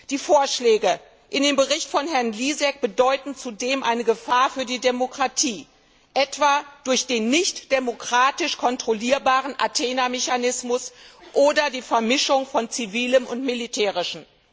Die Vorschläge in dem Bericht von Herrn Lisek bedeuten zudem eine Gefahr für die Demokratie, etwa durch den nicht demokratisch kontrollierbaren Athena Mechanismus oder die Vermischung von Zivilem und Militärischem.